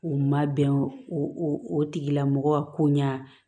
U ma bɛn o o tigilamɔgɔ ko ɲa